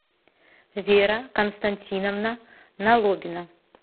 вера константиновна налобина